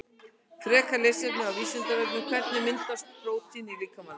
Frekara lesefni á Vísindavefnum Hvernig myndast prótín í líkamanum?